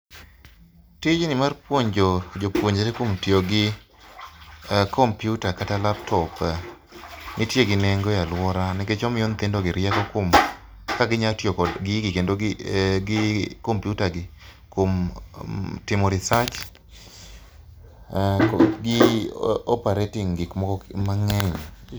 Tijni mar puonjo jopuonjre kuom tiyo gi kompiuta kata laptop, entie gi nengo e aluora nikech omiyo nyithindogi rieko kaka ginyalo tiyo kod gigi kod kompiuta gi, kuom timo research gi operating gik moko mang'eny